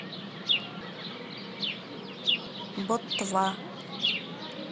боттва